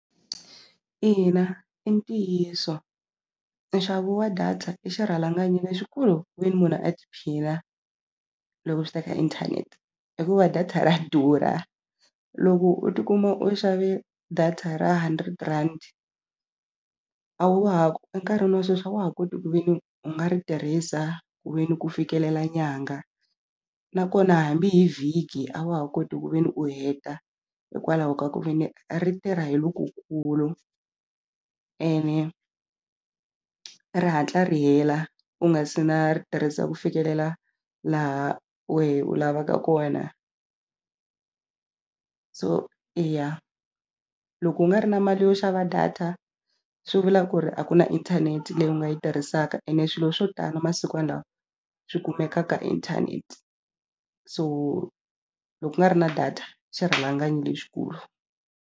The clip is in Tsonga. Ina i ntiyiso nxavo wa data i xirhalanganyi lexikulu ku ve ni munhu a tiphina loko swi ta ka inthanete hikuva data ra durha loko u ti kuma u xave data ra hundred rand a wa ha enkarhini wa sweswi a wa ha koti ku ve ni u nga ri tirhisa ku ve ni ku fikelela nyangha nakona hambi hi vhiki a wa ha koti ku ve ni u heta hikwalaho ka ku ve ni ri tirha hi lokukulu ene ri hatla ri hela u nga se na ri tirhisa ku fikelela laha wehe u lavaka kona so eya loko u nga ri na mali yo xava data swi vula ku ri a ku na inthanete leyi u nga yi tirhisaka ene swilo swo tala masikwana lawa swi kumeka ka inthanete so loko ku nga ri na data xirhalanganyi lexikulu.